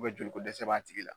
joli ko dɛsɛ b'a tigi la.